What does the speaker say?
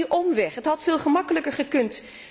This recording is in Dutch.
Waarom die omweg? Het had veel gemakkelijker gekund.